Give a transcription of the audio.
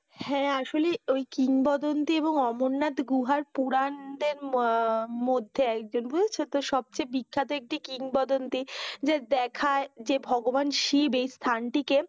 হ্যাঁ, আসলে কিংবদন্তী এবং অমরনাথ গুহার পুরানদের মধ্যে একজন বুঝেছ? তো সবচেয়ে বিখ্যাত একটি কিংবদন্তী যা দেখায় যে ভগবান শিব এই স্থানটিকে